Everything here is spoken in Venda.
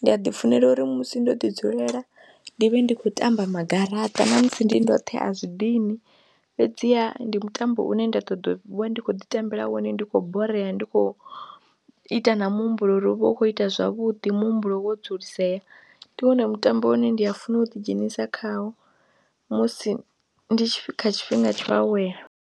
ndi a ḓifunela uri musi ndo ḓi dzulela ndi vhe ndi khou tamba magaraṱa ṋamusi ndi ndoṱhe a zwi dini fhedziha ndi mutambo une nda ṱoḓa ndi khou ḓitambela wone ndi khou borea, ndi khou ita na muhumbulo uri u vhe u khou ita zwavhuḓi muhumbulo wo dzulisea, ndi wone mutambo une ndi a funa u ḓidzhenisa khawo musi ndi kha tshifhinga tsha u awela.